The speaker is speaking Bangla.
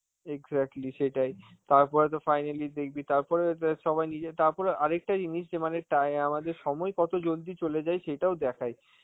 exactly সেটাই, তারপরে তো finally দেখবি তারপরে তো সবাই নিজে~ তারপরে আর একটা জিনিস যে মানে তাই আমাদের সময় কত জলদি চলে যায়, সেটাও দেখায়